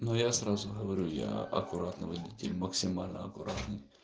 но я сразу говорю я аккуратный водитель максимально аккуратный